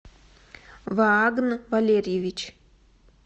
ваагн валерьевич